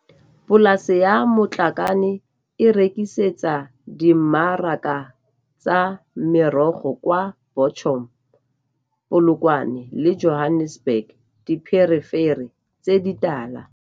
Polase ya Matlakane e rekisetsa dimmaraka tsa merogo kwa Bochum, Polokwane le Johannesburg dipherefere tse di tala.